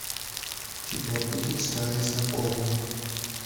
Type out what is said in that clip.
у тебя будет старый знакомый